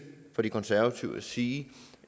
fra de konservative og sige